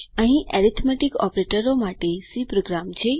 અહીં એરિથમેટિક ઓપરેટરો માટે સી પ્રોગ્રામ છે